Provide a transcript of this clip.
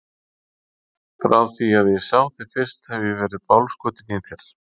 Frá því að ég sá þig fyrst hef ég verið bálskotinn í þér.